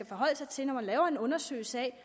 forholde sig til når man laver en undersøgelse af